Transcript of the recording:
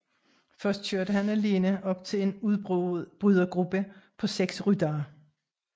Først kørte han alene op til en udbrydergruppe på 6 ryttere